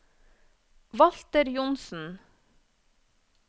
Walter Johnsen